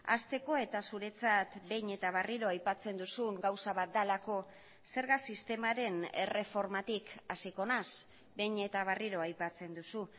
hasteko eta zuretzat behin eta berriro aipatzen duzun gauza bat delako zerga sistemaren erreformatik hasiko naiz behin eta berriro aipatzen duzu